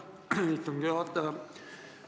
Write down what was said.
Aitäh, istungi juhataja!